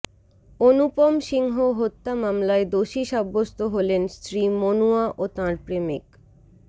অনুপম সিংহ হত্যা মামলায় দোষী সাব্যস্ত হলেন স্ত্রী মনুয়া ও তাঁর প্রেমিক